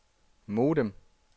modem